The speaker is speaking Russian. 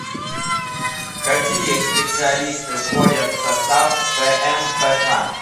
какие специалисты входят в состав пмпк